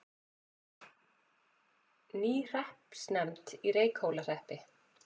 Ný hreppsnefnd í Reykhólahreppi